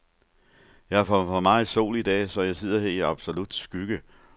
Jeg har fået for meget sol i dag, så jeg sidder her i absolut skygge.